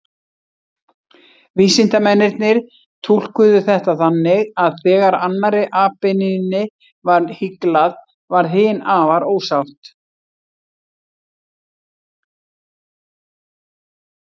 Vísindamennirnir túlkuðu þetta þannig að þegar annarri apynjunni var hyglað, varð hin afar ósátt.